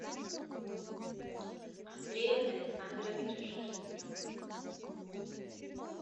андрея александровича шерстнева